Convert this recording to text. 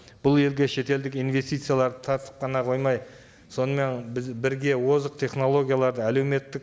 бұл елге шетелдік инвестицияларды тартып қана қоймай сонымен біз бірге озық технологияларды әлеуметтік